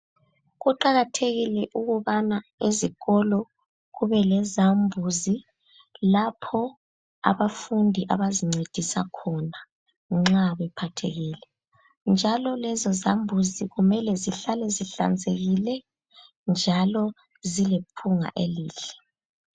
Kuqakathekile ukubana ezikolo kubelezambuzi lapho abafundi abazincedisa khona nxa bephathekile njalo lezozambuzi kumele zihlale zihlanzekile njalo zilephunga elihle.